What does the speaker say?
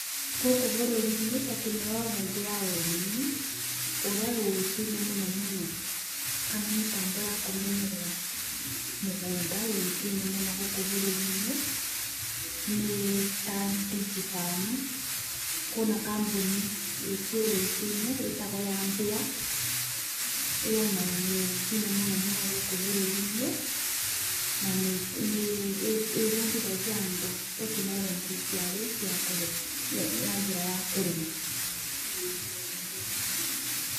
Gũkũ bũrũri-inĩ tekinoronjĩ ya ũrĩmi ĩrĩa yũĩkaine mũno mũno kana mĩtambo ya kũmenyerera mũgũnda yũĩkaine mũno gũkũ bũrũri-inĩ nĩ ta DigiFarm, kwĩ na kambuni ĩkwo yũĩkaine yũĩkane ĩtagwo ya bayer, ĩyo nayo nĩyũĩkaine mũno mũno gũkũ bũrũri-inĩ na nĩbundithagia andũ tekinironjĩ cia rĩu cia kũrĩma, ya njĩra ya kũrĩma.